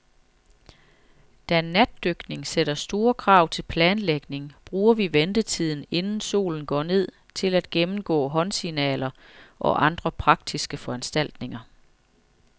Da natdykning sætter store krav til planlægning, bruger vi ventetiden, inden solen går ned, til at gennemgå håndsignaler og andre praktiske foranstaltninger.